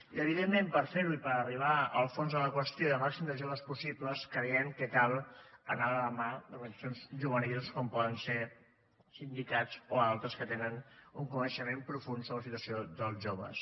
i evidentment per fer ho i per arribar al fons de la qüestió i al màxim de joves possible creiem que cal anar de la mà d’organitzacions juvenils com poden ser sindicats o altres que tenen un coneixement profund sobre la situació dels joves